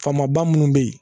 Faamaba munnu bɛ yen